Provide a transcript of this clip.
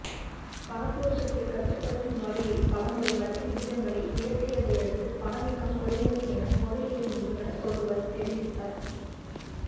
பணபுழக்கத்தை கட்டுப்படுத்தும் வகையில் பலமுறை வட்டி விகிதங்களை உயர்த்தியதையடுத்து பணவீக்கம் குறைந்தது என பொருளியல் நிபுணர் ஒருவர் தெரிவித்தார்